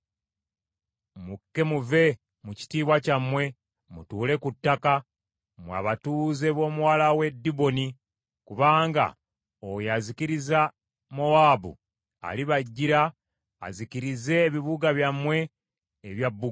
“Mukke muve mu kitiibwa kyammwe mutuule ku ttaka, mmwe abatuuze b’Omuwala w’e Diboni, kubanga oyo azikiriza Mowaabu alibajjira azikirize ebibuga byammwe ebya bbugwe.